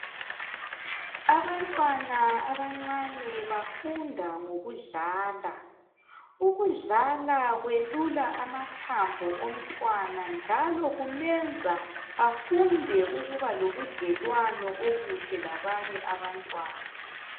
Abantwana abancane bafunda ngokudlala. Ukudlala kwelula amathambo omntwana njalo kumenza afunde ukuba lobudlelwano obuhle labanye abantwana.